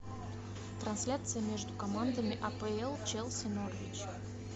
трансляция между командами апл челси норвич